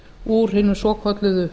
úr hinum svokölluðu